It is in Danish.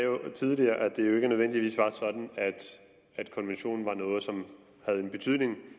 tidligere at det jo ikke nødvendigvis var sådan at konventionen var noget som havde en betydning